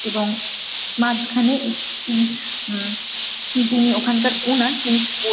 এবং মাঝখানে ই ইনি উম যিনি ওখানকার ওনার তিনি কিছু বল--